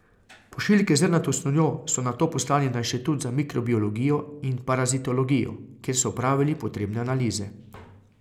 Pošiljke z zrnato snovjo so nato poslali na inštitut za mikrobiologijo in parazitologijo, kjer so opravili potrebne analize.